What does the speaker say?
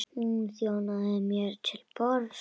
Hún þjónaði mér til borðs.